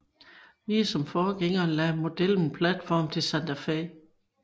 Ligesom forgængeren lagde modellen platform til Santa Fe